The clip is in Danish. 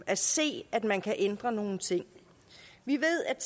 at se at man kan ændre nogle ting vi ved at